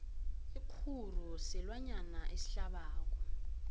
ikguru silwanyana esihlabako